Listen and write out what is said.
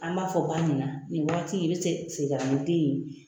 An b'a fɔ ba ɲɛna, nin wagati in i be se segin ka na ni den ye.